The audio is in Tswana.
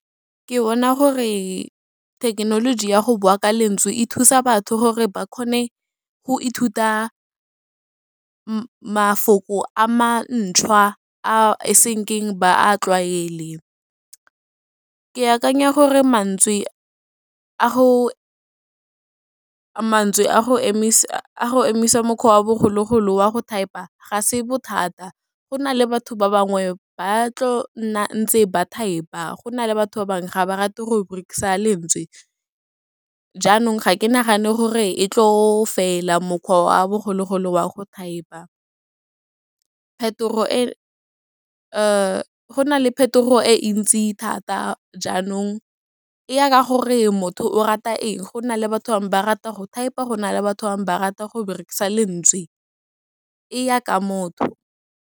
Ke bona gore thekenoloji ya go bua ka lentswe e thusa batho gore ba kgone go ithuta mafoko a mantshwa a senkeng ba a tlwaele, ke akanya gore mantswe a go emisa mokgwa wa bogologolo wa go thaepa, ga se bothata, go na le batho ba bangwe ba tlo nna ntse ba thaepa, go na le batho ba bangwe ga ba rate gore berekisa lentswe. Jaanong ga ke nagane gore e tlo fela mokgwa wa bogologolo wa go thaepa, go nale phetogo e ntsi di thata, jaanong e ya ka gore motho o rata eng go na le batho bangwe ba rata go thaepa, gona le batho bangwe ba rata go berekisa lentswe e ya ka motho.